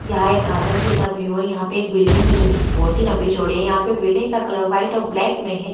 यहां एक गार्डन जैसा व्यू हैयहां पर बिल्डिंग जो की बहुत ही लंबी चौड़ी है यहां पर बिल्डिंग का कलर व्हाइट और ब्लैक में है।